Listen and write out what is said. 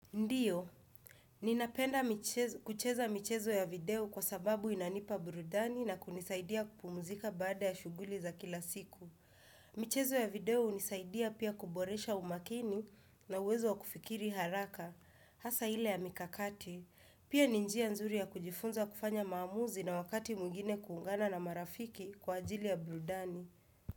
Ndiyo, ninapenda kucheza michezo ya video kwa sababu inanipa burudani na kunisaidia kupumuzika baada ya shughuli za kila siku. Michezo ya video unisaidia pia kuboresha umakini na uwezo wa kufikiri haraka. Hasa ile ya mikakati, pia ninjia nzuri ya kujifunza kufanya maamuzi na wakati mwingine kuungana na marafiki kwa ajili ya burudani.